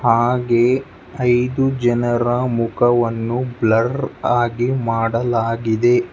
ಹಾಗೆ ಐದು ಜನರ ಮುಖವನ್ನು ಬ್ಲರ್ ಆಗಿ ಮಾಡಲಾಗಿದೆ.